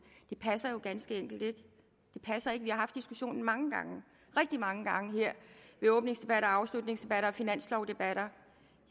det passer jo ganske enkelt ikke det passer ikke vi har haft diskussionen mange gange rigtig mange gange her ved åbningsdebatter og afslutningsdebatter og finanslovdebatter